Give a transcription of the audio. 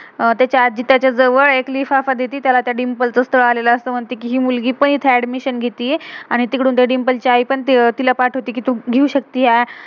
अह त्याची आजी त्याच्या जवळ एक लिफाफा देती, त्याला त्या डिंपल ची स्तल आलेलं असतं म्हणते कि, हि मुलगी पण इथं एडमिशन adnmission घेतिये. आणि तिकडून त्या डिंपल ची आई पण तिला पाठवते कि, तू~घेऊ शक्तिए